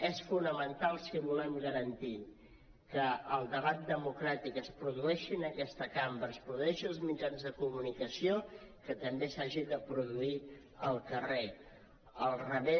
és fonamental si volem garantir que el debat democràtic es produeixi en aquesta cambra es produeixi als mitjans de comunicació que també s’hagi de produir al carrer